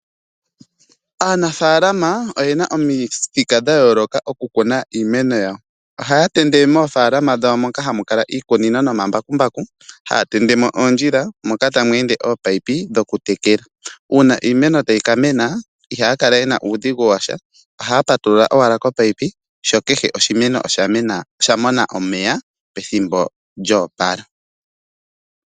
Aanafalama oyena omithika dha yooloka okukuna iimeno yawo ohaya tende moofalama dhawo moka moka hamu kala iikunino nomambaku haatende mo oondjila moka tamu ende oopayipi uuna iimeno tayi ka mena ihaya kala yena uupyakadhi washa ohaya patulula owala omeya sho keshe oshimeno osha mona omeya pethimbo lyo opala.